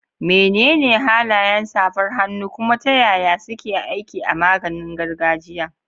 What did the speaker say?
Menene halayen safar hannu, kuma ta yaya suke aiki a maganin gargajiya?